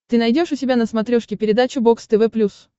ты найдешь у себя на смотрешке передачу бокс тв плюс